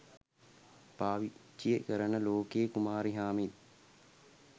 පාවිච්චි කරන ලොකේ කුමාරිහාමිත්